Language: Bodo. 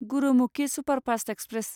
Gurumukhi superfast express